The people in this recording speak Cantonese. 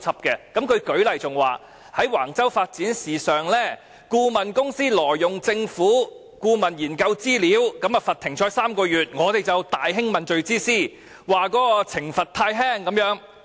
他更舉例說在橫洲發展的事宜上，顧問公司挪用政府的研究資料，被罰"停賽 "3 個月，我們就大興問罪之師，指懲罰太輕。